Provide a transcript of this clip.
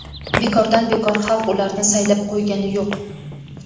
Bekordan bekor xalq ularni saylab qo‘ygani yo‘q.